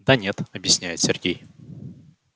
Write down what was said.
да нет объясняет сергей